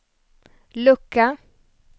lucka